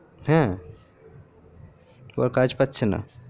হে ও আর কাজ পাচ্ছেনা